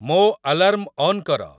ମୋ alarm on କର